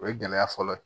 O ye gɛlɛya fɔlɔ ye